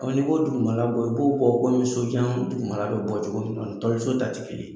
n'i bɔ dugumala bɔ, i b'o bɔ komi sojan dugumala bɛ bɔ cogo min, o ni toli so t'a tɛ kelen ye.